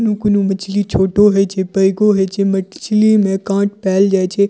कोनो-कोनो मछली छोटो होइ छे बड़को होइ छे मछली में कांट पैल जाइछे।